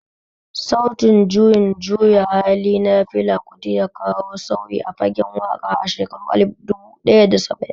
Sautin juyin juya hali na Fela Kuti ya kawo sauyi a fagen waƙa a shekaru alif dubu ɗaya da saba'in